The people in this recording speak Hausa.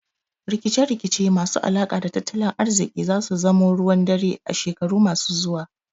Rikice rikice masu alaka da tattalin ariziki zasu zamo ruwan dare a shekaru masu zuwa